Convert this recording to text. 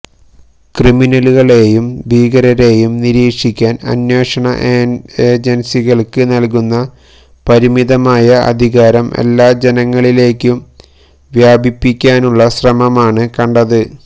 ക്രിമിനലുകളെയും ഭീകരരെയും നിരീക്ഷിക്കാന് അന്വേഷണ ഏജന്സികള്ക്ക് നല്കുന്ന പരിമിതമായ അധികാരം എല്ലാ ജനങ്ങളിലേക്കും വ്യാപിപ്പിക്കാനുള്ള ശ്രമമാണ് കണ്ടത്